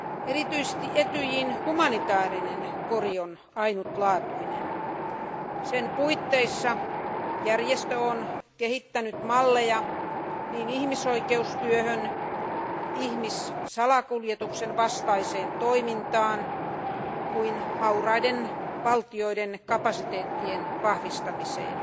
Erityisesti Etyjin humanitaarinen kori on ainutlaatuinen, sen puitteissa järjestö on kehittänyt malleja niin ihmisoikeustyöhön, ihmisten salakuljetuksen vastaiseen toimintaan kuin hauraiden valtioiden kapasiteettien vahvistamiseen.